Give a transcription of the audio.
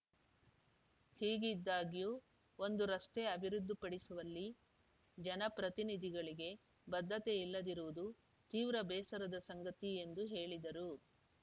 ಹೀಗಿದ್ದಾಗ್ಯೂ ಒಂದು ರಸ್ತೆ ಅಭಿವೃದ್ಧಿಪಡಿಸುವಲ್ಲಿ ಜನಪ್ರತಿನಿಧಿಗಳಿಗೆ ಬದ್ಧತೆ ಇಲ್ಲದಿರುವುದು ತೀವ್ರ ಬೇಸರದ ಸಂಗತಿ ಎಂದು ಹೇಳಿದರು